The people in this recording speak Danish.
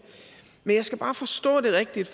men jeg skal bare forstå det rigtigt